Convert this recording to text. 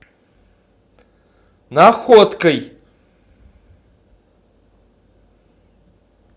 находкой